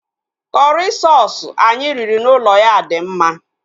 Kọrị soosu anyị riri n'ụlọ ya dị mma